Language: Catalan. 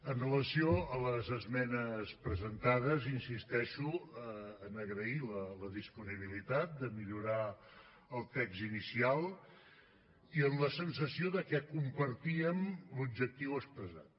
amb relació a les esmenes presentades insisteixo a agrair la disponibilitat de millorar el text inicial i amb la sensació que compartíem l’objectiu expressat